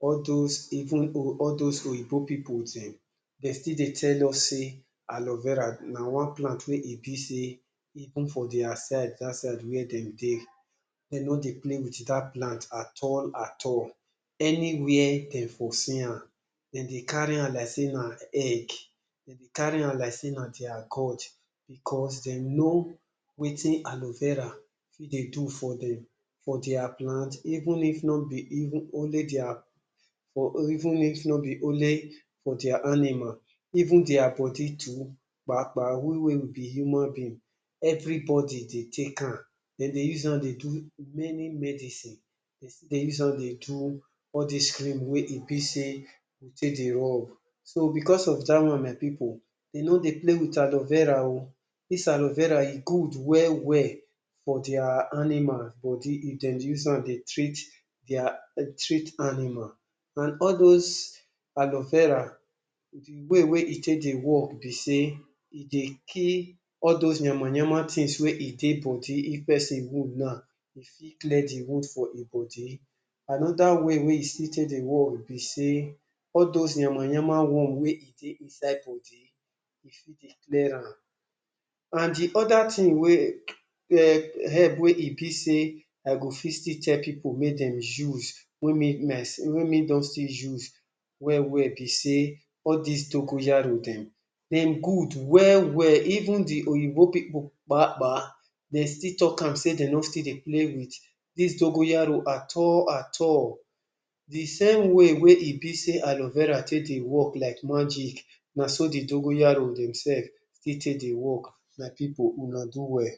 All those even all those oyinbo pipu dem, dem still dey tell us sey Aleo Vera na one plant wey e be sey even for their side that side wey dem dey, dem no dey play with dat plant at all, at all. Anywhere dem for see am, dem dey carry am like sey na egg. Dem dey carry am like sey na their God because dem know wetin Aleo Vera fit dey do for dem for their plant even if no be even only their, even if no be only for their animal, even their body too, we wey we be human being, everybody dey take am. Dem dey use am dey do many medicine. Dem still dey use am dey do all these cream wey e be sey we take dey rub. So, because of dat one my pipu, dem no dey play with Aleo Vera o. Dis Aleo Vera e good well well for their animal body if dem use am dey treat their treat animal. And all those Aleo Vera, the way we e take dey work be sey, e dey kill all those yama-yama things wey e dey body. If person wound now, e fit clear de wound for im body. Another way wey e still take dey work be sey, all those yama-yama worm wey e dey inside body, e fit dey clear am. And de other thing wey um help wey e be sey I go fit still tell pipu make dem use wey make me I, wey me don still use well well be sey, all these Dogoyaro dem, dem good well well. Even de oyinbo pipu um, dem still talk am sey dem no still dey play with dis Dogoyaro at all, at all. De same way wey e be sey Aloe Vera take dey work like magic, na so de Dogoyaro dem sef still take dey work. My pipu, una do well.